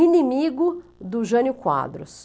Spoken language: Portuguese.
inimigo do Jânio Quadros.